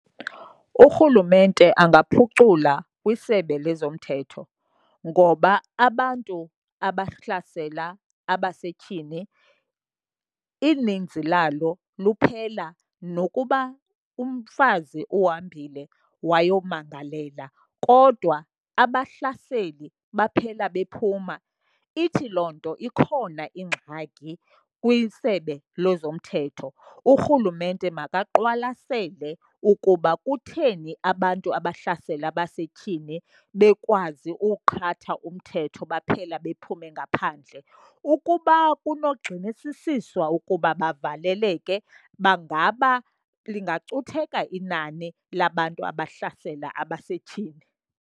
Urhulumente angaphucula kwisebe lezomthetho, ngoba abantu abahlasela abasetyhini ininzi lalo luphela nokuba umfazi uhambile wayomangalela kodwa abahlaseli baphela bephuma. Ithi loo nto ikhona ingxaki kwiSebe lezoMthetho. Urhulumente makaqwalasele ukuba kutheni abantu abahlasela abasetyhini bekwazi uwuqhatha umthetho baphela bephume ngaphandle. Ukuba kunogxinisisiswa ukuba bavaleleke bangaba lingacutheka inani labantu abahlasela abasetyhini.